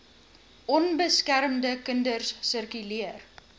onbeskermde kinders sirkuleer